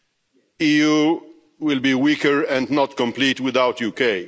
The EU will be weaker and not complete without the UK.